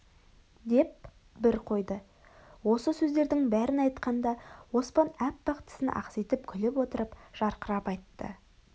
деп бір қойды осы сөздердің бәрін айтқанда оспан аппақ тісін ақситып күліп отырып жарқырап айтты